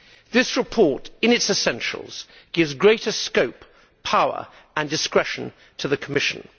This report, in its essentials, gives greater scope, power and discretion to the Commission.